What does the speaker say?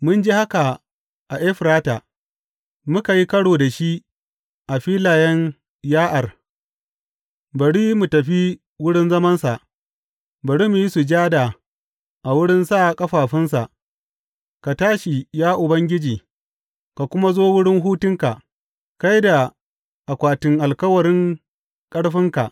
Mun ji haka a Efrata, muka yi ƙaro da shi a filayen Ya’ar,, Bari mu tafi wurin zamansa; bari mu yi sujada a wurin sa ƙafafunsa, ka tashi, ya Ubangiji, ka kuma zo wurin hutunka, kai da akwatin alkawarin ƙarfinka.